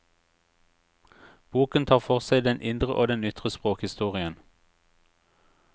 Boken tar for seg den indre og den ytre språkhistorien.